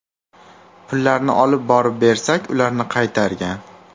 Pullarni olib borib bersak, ularni qaytargan.